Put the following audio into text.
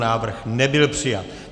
Návrh nebyl přijat.